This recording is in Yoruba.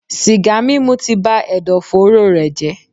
Sìgá mímu ti ba ẹ̀dọ̀fóró rẹ̀ jẹ́.